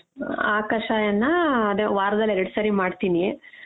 ಆ ಕಷಾಯಾನ ಆ ಅದೇ ವಾರದಲ್ಲಿ ಎರಡ್ ಸರಿ ಮಾಡ್ತೀನಿ.